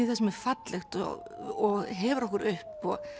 það sem er fallegt og hefur okkur upp og